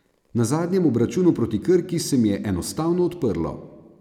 Na zadnjem obračunu proti Krki se mi je enostavno odprlo.